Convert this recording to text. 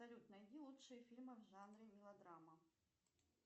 салют найди лучшие фильмы в жанре мелодрама